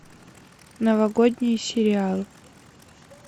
новогодний сериал